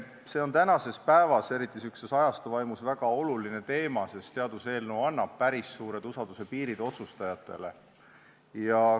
See on tänapäeval, eriti praeguse ajastu vaimus väga oluline teema, sest seaduseelnõu annab otsustajatele päris suured usalduspiirid.